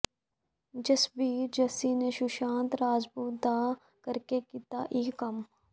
ਜਸਬੀਰ ਜੱਸੀ ਨੇ ਸੁਸ਼ਾਂਤ ਰਾਜਪੂਤ ਦਾ ਕਰਕੇ ਕੀਤਾ ਇਹ ਕੰਮ